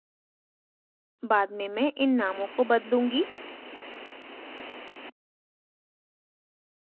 बाद में मैं इन नामों को बदलूँगी